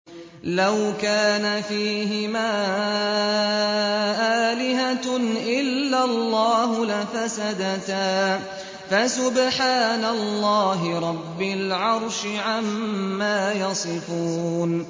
لَوْ كَانَ فِيهِمَا آلِهَةٌ إِلَّا اللَّهُ لَفَسَدَتَا ۚ فَسُبْحَانَ اللَّهِ رَبِّ الْعَرْشِ عَمَّا يَصِفُونَ